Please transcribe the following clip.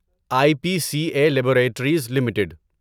I P C A laboratories limited